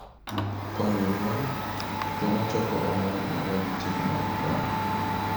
Konyo nyuol: Jomachoko omwom odagi chik mar Trump